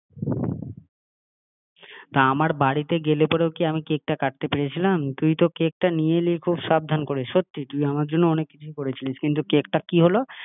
যেতে হলো তা আমার বাড়িতে গেলে পরেও কি আমি কেকটা কাটতে পেরেছিলাম? তুই তো কেকটা নিয়ে এলি খুব সাবধান করে, সত্যিই তুই আমার জন্যে অনেক কিছুই করেছিলি কিন্তু কেকটার কি হলো